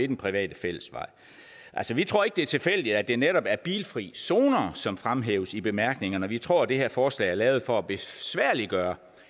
den private fællesvej altså vi tror ikke at det er tilfældigt at det netop er bilfrie zoner som fremhæves i bemærkningerne vi tror at det her forslag er lavet for at besværliggøre